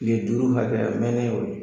Tile duuru hakɛ, a mɛnnen y'o ye.